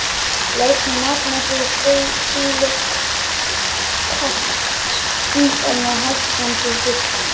Leysni magnesíum-silíkats minnkar með hækkandi hita.